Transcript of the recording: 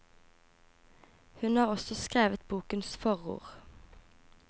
Hun har også skrevet bokens forord.